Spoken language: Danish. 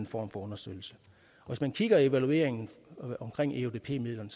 form for understøttelse hvis man kigger i evalueringen omkring eudp midlerne